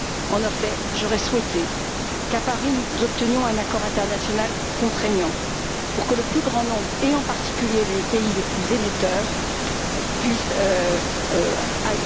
En effet, j'aurais souhaité qu'à Paris nous obtenions un accord international contraignant pour que le plus grand nombre, et en particulier les pays les plus émetteurs, puissent l'approuver.